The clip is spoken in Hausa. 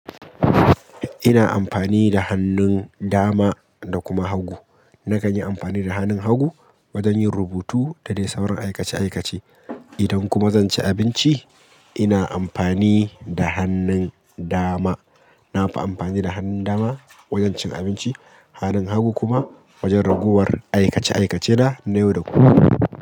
Ina amfani da hannun dama da kuma hagu. Na kan yi amfani da hannun hagu wajen yin rubutu, da dai sauran aikace-aikace. Idan kuma zan ci abinci, ina amfani da hannun dama. Na fi amfani da hannun dama wajen cin abinci, hannun hagu kuma wajen ragowar aikac-aikace na, na yau da kullum.